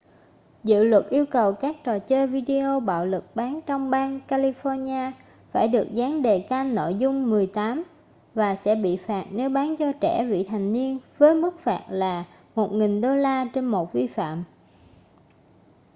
dự luật yêu cầu các trò chơi video bạo lực bán trong bang california phải được dán đề-can nội dung 18 và sẽ bị phạt nếu bán cho trẻ vị thành niên với mức phạt là $1000 trên một vi phạm